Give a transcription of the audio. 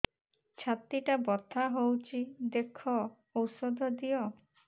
ଛାତି ଟା ବଥା ହଉଚି ଦେଖ ଔଷଧ ଦିଅ